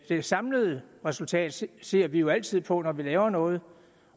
det samlede resultat ser vi jo altid på når vi laver noget